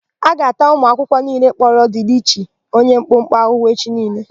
A ga-ata ụmụakwụkwọ niile kpọrọ Dịlịchi onye mkpụmkpụ ahụhụ echi.